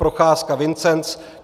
Procházka Vincenc